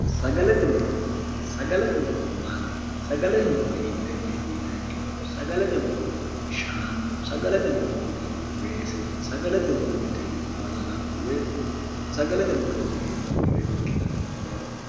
sagalate muro maati sagalate muro hiittenneeti yinaikkiro sagalate muro shaanu sagalate murooti weese oti badala sagalate murooti neendannire ikkitanno yaate